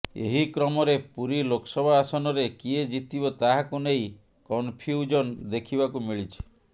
ଏହିକ୍ରମରେ ପୁରୀ ଲୋକସଭା ଆସନରେ କିଏ ଜିତିବ ତାହାକୁ ନେଇ କନଫ୍ୟୁଜନ୍ ଦେଖିବାକୁ ମିଳିଛି